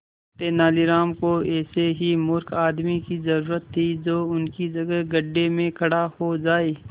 तेनालीराम को ऐसे ही मूर्ख आदमी की जरूरत थी जो उसकी जगह गड्ढे में खड़ा हो जाए